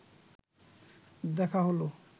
দেখা হলো